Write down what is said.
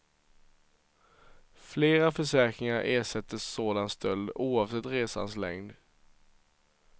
Flera försäkringar ersätter sådan stöld oavsett resans längd.